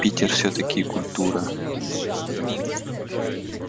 питер всё-таки культура